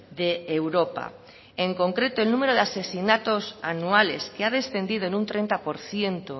de europa en concreto el número de asesinatos anuales que ha descendido en un treinta por ciento